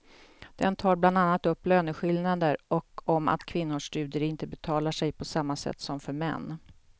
Den tar bland annat upp löneskillnader och om att kvinnors studier inte betalar sig på samma sätt som för män.